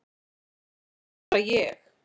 En ég er bara ég.